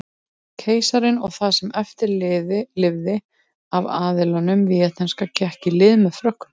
Keisarinn og það sem eftir lifði af aðlinum víetnamska gekk í lið með Frökkum.